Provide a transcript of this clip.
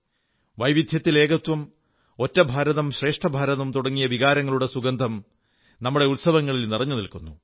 വൈവിധ്യത്തിൽ ഏകത്വം ഏക ഭാരതം ശ്രേഷ്ഠ ഭാരതം തുടങ്ങിയ വികാരങ്ങളുടെ സുഗന്ധം നമ്മുടെ ഉത്സവങ്ങളിൽ നിറഞ്ഞുനിൽക്കുന്നു